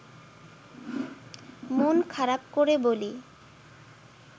মন খারাপ করে বলি